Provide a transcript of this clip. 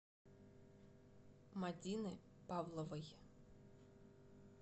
мадины павловой